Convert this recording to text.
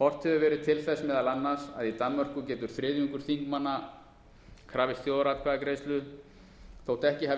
horft hefur verið til þess meðal annars að í danmörku getur þriðjungur þingmanna krafist þjóðaratkvæðagreiðslu þótt ekki hafi